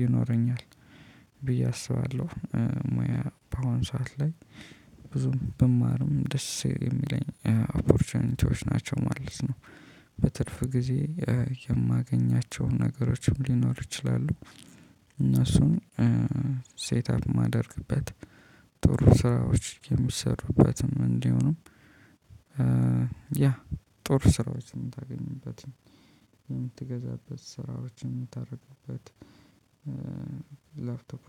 ይኖረኛል። ብዬ አስባለሁ ሙያ በአሁን ሰዓት ላይ ብዙም ብማርም ደስ የሚለኝ ኦፖርቾቹኒቲዎች ናቸው ማለት ነው። በትርፍ ጊዜ የማገኛቸውን ነገሮችም ሊኖር ይችላሉ። እነሱን ሴት አፕ የማደርግበት ጥሩ ስራዎች የምትሰሩበትም እንዲው ነው። ያ ጦር ስራዎችን የምታገኙበት የምትገዛበት ስራዎችን የምታደርጉበት። ላፕቶፕመንት